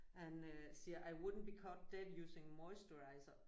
Han øh siger I wouldn't be caught dead using moisturiser